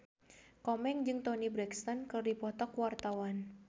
Komeng jeung Toni Brexton keur dipoto ku wartawan